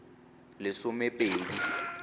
lesomepedi